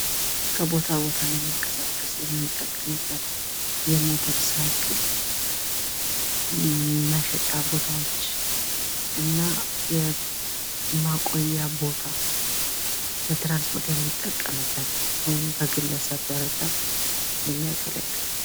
ከቦታ ቦታ ለመንቀሳቀስ የምንጠቀምበት የሞተር ሳይክል መሸጫ ቦታዎች እና ማቆያ ቦታ ለትራንስፖርት የሚገለገሉበት ወይም በግል የሚጠቀሙበት ነው።